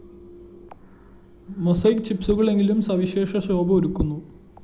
mosaic ചിപ്‌സുകളെങ്കിലും സവിശേഷ ശോഭ ഒരുക്കുന്നു